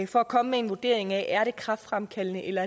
for at komme med en vurdering af er kræftfremkaldende eller